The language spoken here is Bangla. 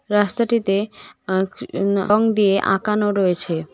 রাস্তাটিতে অ ক ন রং দিয়ে আঁকানো রয়েছে।